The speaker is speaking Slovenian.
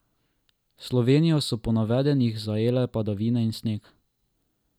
Slovenijo so po napovedih zajele padavine in sneg.